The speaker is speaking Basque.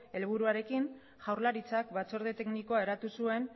helburuarekin jaurlaritzak batzorde teknikoa eratu zuen